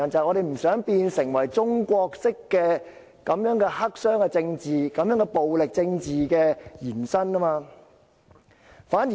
我們不想中國式的黑箱政治、暴力政治延伸到香港。